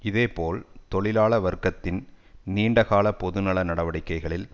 இதே போல் தான் தொழிலாள வர்க்கத்தின் நீண்ட கால பொது நல நடவடிக்கைகளில்